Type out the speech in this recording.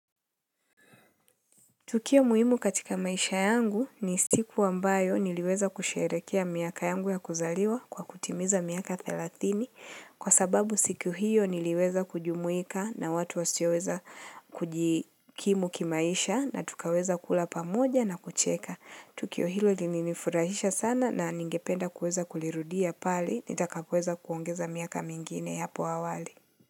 Tukio muhimu katika maisha yangu ni siku ambayo niliweza kusherehekea miaka yangu ya kuzaliwa kwa kutimiza miaka 30 kwa sababu siku hiyo niliweza kujumuika na watu wasioweza kujikimu kimaisha na tukaweza kula pamoja na kucheka. Tukio hilo lininifurahisha sana na ningependa kuweza kulirudia pale nitakapoweza kuongeza miaka mingine hapo awali.